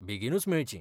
बेगीनूच मेळचीं.